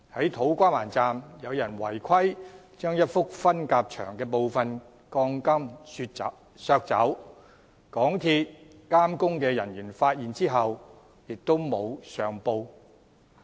在土瓜灣站，有人違規削走一幅分隔牆的部分鋼筋，而港鐵公司監工人員發現後亦沒有上報。